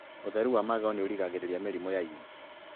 ũtheru wa magego nĩũrigagĩrĩria mĩrimũ ya ini